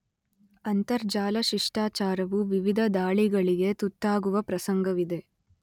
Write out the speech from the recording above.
ಅಂತರಜಾಲ ಶಿಷ್ಟಾಚಾರವು ವಿವಿಧ ದಾಳಿಗಳಿಗೆ ತುತ್ತಾಗುವ ಪ್ರಸಂಗವಿದೆ.